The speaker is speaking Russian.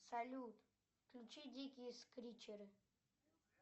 салют включи дикие скричеры